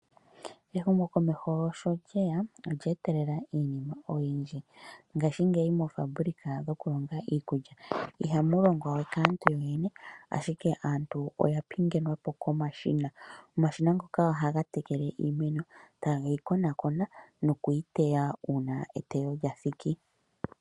Ehumokomeko sho lyeya olya etelela iinima oyindji ngashingeyi moofaabulika dhokulonga iikulya ihamu longwa we kaantu yoyene ashike aantu oya pingenwa po komashina. Omashina ngoka ohaga tekele iimeno tage yi konakona nokuyiteya una eteyo lya thiki.